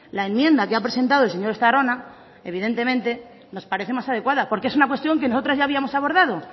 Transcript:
la enmienda que ha presentado el señor estarrona evidentemente nos parece más adecuada porque es una cuestión que nosotras ya habíamos abordado